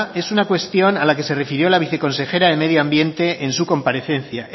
es una cuestión a la que se refirió la viceconsejera de medioambiente en su comparecencia